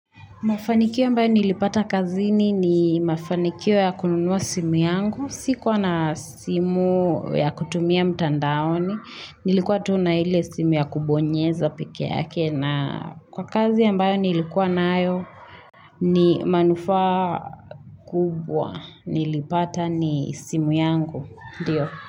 Mafanikio ambayo nilipata kazini ni mafanikio ya kununua simu yangu. Sikuwa na simu ya kutumia mtandaoni. Nilikuwa tu na ile simu ya kubonyeza peke yake. Na kwa kazi ambayo nilikuwa nayo ni manufaa kubwa. Nilipata ni simu yangu. Ndiyo.